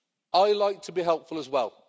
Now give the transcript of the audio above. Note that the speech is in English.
I like to be helpful as well.